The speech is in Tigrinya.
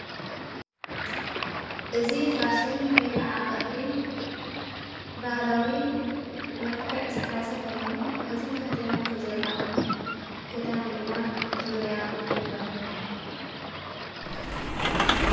እዝ ፋሽን ወይ ከዓ ቕዲ ባህላዊ መልከዕ ዝኃዘ ኾይኑ እቲ ተኽዲናት ቶዘላ ግዳን ድማ ዙርያ ይበሃል::